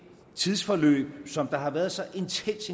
tidsforløb som der har været så intens